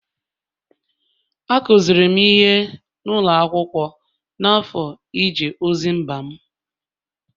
Akụziri m ihe n’ụlọ akwụkwọ n’afọ ije ozi mba m